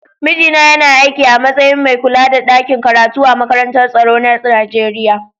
Mijina yana aikin a matsayin mai kulla da ɗakin karatu a makarantar tsaro na Nijeriya.